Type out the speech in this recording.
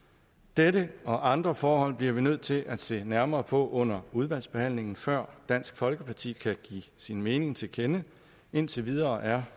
dette og andre forhold bliver vi nødt til at se nærmere på under udvalgsbehandlingen før dansk folkeparti kan give sin mening til kende indtil videre er